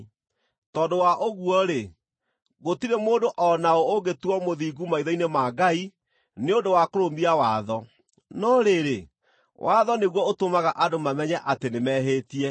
Tondũ wa ũguo-rĩ, gũtirĩ mũndũ o na ũ ũngĩtuuo mũthingu maitho-inĩ ma Ngai nĩ ũndũ wa kũrũmia watho; no rĩrĩ, watho nĩguo ũtũmaga andũ mamenye atĩ nĩmehĩtie.